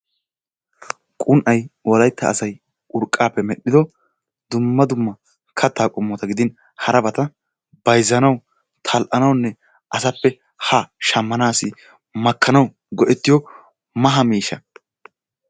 Qun'ay wolayttan asay urqqaappe medhdhido dumma dumma kattaa qomotta gidiin harabata bayzzanawu tal'anawunne asappe haa shamanawu makanawu go'ettiyo maha miishsha.